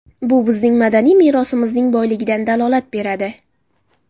Bu bizning madaniy merosimizning boyligidan dalolat beradi.